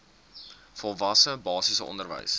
volwasse basiese onderwys